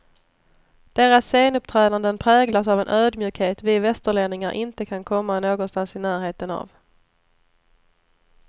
Deras scenuppträdanden präglas av en ödmjukhet vi västerlänningar inte kan komma någonstans i närheten av.